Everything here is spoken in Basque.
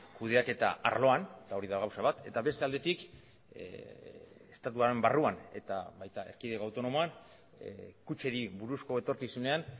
kudeaketa arloan eta hori da gauza bat eta beste aldetik estatuaren barruan eta baita erkidego autonomoan kutxeri buruzko etorkizunean